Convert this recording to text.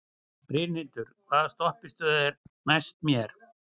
Brynhildur, hvaða stoppistöð er næst mér?